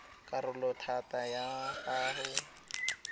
karolo ya thata ya go